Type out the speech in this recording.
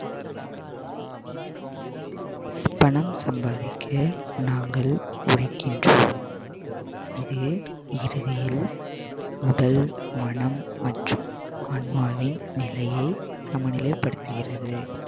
பணம் சம்பாதிக்க நாங்கள் உழைக்கின்றோம் இது இறுதியில் உடல் மனம் மற்றும் ஆன்மாவின் நிலையை சமநிலைப்படுத்துகிறது